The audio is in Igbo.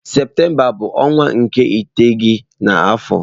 Septemba bu onwa nke iteghete na afo.